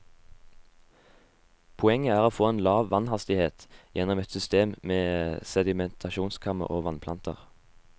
Poenget er å få lav vannhastighet gjenom et system med sedimentasjonskammer og vannplanter.